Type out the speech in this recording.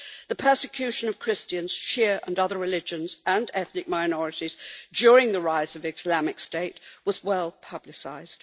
The persecution of Christians, Shia and other religions and ethnic minorities, during the rise of the Islamic State was well publicised.